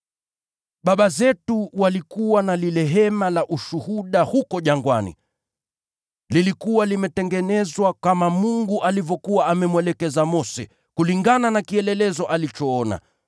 “Baba zetu walikuwa na lile Hema la Ushuhuda huko jangwani. Lilikuwa limetengenezwa kama Mungu alivyokuwa amemwelekeza Mose, kulingana na kielelezo alichoona.